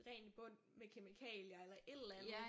Rent i bund med kemikalier eller et eller andet